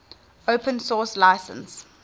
open source license